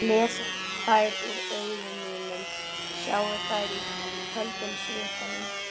Lesi þær úr augum mínum, sjái þær í köldum svitanum.